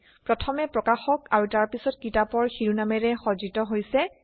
প্ৰথমে প্ৰকাশক আৰু তাৰ পিছত কিতাপৰ শিৰোনামেৰে সজ্জিত হৈছে